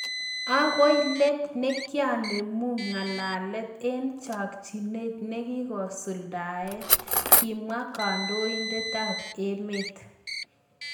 Agoi leet nikianemuu ng'alalet eng chakchineet nekikisuladae kimwaa kandoindet ap emeet